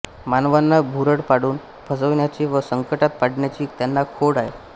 मानवांना भुरळ पाडून फसविण्याची व संकटात पाडण्याची त्यांना खोड आहे